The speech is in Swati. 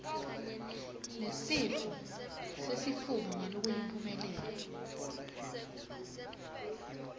nesifo sesifuba ngalokuyimphumelelo